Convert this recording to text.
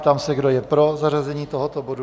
Ptám se, kdo je pro zařazení tohoto bodu.